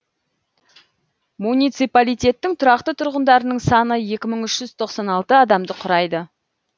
муниципалитеттің тұрақты тұрғындарының саны екі мың үш жүз тоқсан алты адамды құрайды